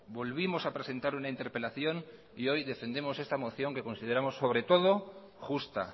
volvimos a presentar una interpelación y hoy defendemos esta moción que consideramos sobre todo justa